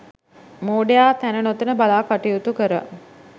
මෝඩයා තැන නොතැන බලා කටයුතු කර